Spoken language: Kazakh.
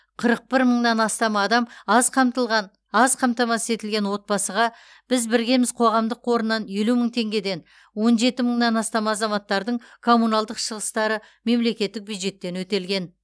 қырық бір мыңнан астам адам аз қамтылған аз қамтамасыз етілген отбасыға біз біргеміз қоғамдық қорынан елу мың теңгеден он жеті мыңнан астам азаматтардың коммуналдық шығыстары мемлекеттік бюджеттен өтелген